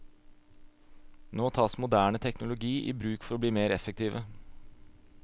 Nå tas moderne teknologi i bruk for å bli mer effektive.